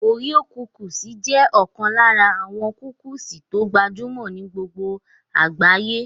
Oreo cookies jẹ́ ọ̀kan lára àwọn kúkìsì tó gbajúmọ̀ ní gbogbo àgbáyé